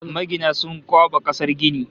Magina sun kwaɓa kasar gini